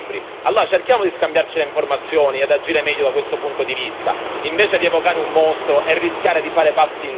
Cerchiamo di scambiarci le informazioni e agire meglio da questo punto di vista, invece di evocare un mostro e rischiare di fare passi indietro.